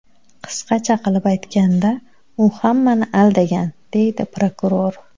Qisqacha qilib aytganda, u hammani aldagan”, deydi prokuror.